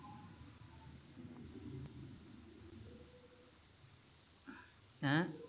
ਹੈ